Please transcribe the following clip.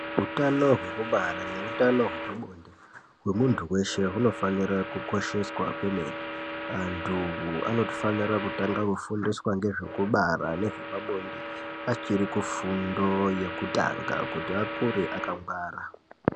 Utano hwekubara ne utano hwepa bonde hwe muntu weshe huno fanira ku kosheswa kwemene antu anofanira kutanga kufundiswa ngezve kubara ne zvepa bonde achiri kufundo yekutanga kuti akure aka ngwara.